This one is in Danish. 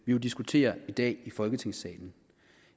vi jo diskuterer i dag i folketingssalen